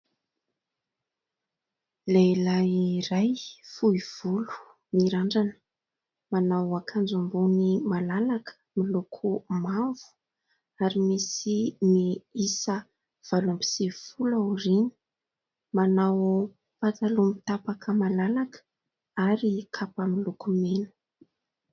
Lehilahy iray fohivolo, mirandrana manao akanjo ambony malalaka miloko mavo ary misy ny isa valo amby sivifolo ao aoriana, manao pataloha mitapaka malalaka ary kapa miloko mena